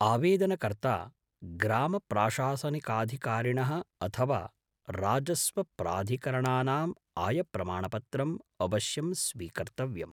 आवेदनकर्ता, ग्रामप्राशासनिकाधिकारिणः अथवा राजस्वप्राधिकरणानां आयप्रमाणपत्रम् अवश्यं स्वीकर्तव्यम्।